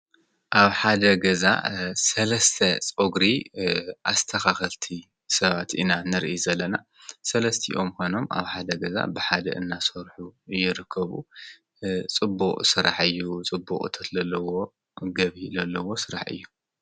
ኣብ ሓደ ገዛ ሰለስተ ፀጉሪ ኣስተካከልቲ ሰባት ኢና ንርኢ ዘለና ሰለስቲኦም ኮይኖም ኣብ ሓደ ገዛ ብሓደ እና ሰርሑ ይርከቡ ። ፅቡቅ ስራሕ እዩ ፅቡቅ እቶት ዘለዎ ገቢ ዘለዎ ስራሕ እዩ።